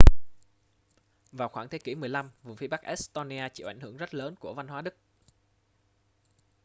vào khoảng thế kỷ 15 vùng phía bắc estonia chịu ảnh hưởng rất lớn của văn hóa đức